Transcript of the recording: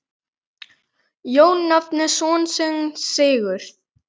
Jón nefndi son sinn Sigurð.